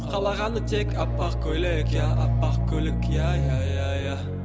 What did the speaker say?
қалағаны тек аппақ көйлек иә аппақ көйлек иә иә иә иә